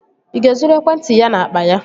Ị ga-ezuru ekwentị ya n'akpa ya?